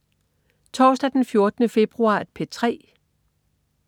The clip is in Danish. Torsdag den 14. februar - P3: